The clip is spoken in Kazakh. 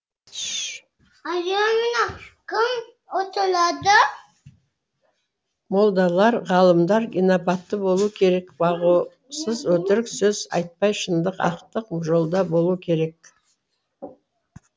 молдалар ғалымдар инабатты болу керек боғауыз өтірік сөз айтпай шындық ақтық жолда болу керек